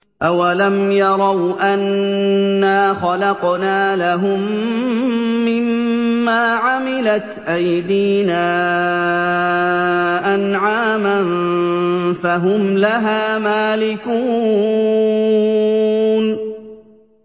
أَوَلَمْ يَرَوْا أَنَّا خَلَقْنَا لَهُم مِّمَّا عَمِلَتْ أَيْدِينَا أَنْعَامًا فَهُمْ لَهَا مَالِكُونَ